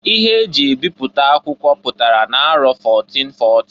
Ihe eji ebiputa akwụkwọ pụtara na-arọ 1440.